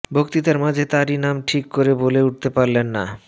বক্তৃতার মাঝে তাঁর নামই ঠিক করে বলে উঠতে পারলেন না